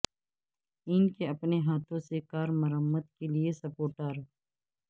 ان کے اپنے ہاتھوں سے کار مرمت کے لئے سپوٹار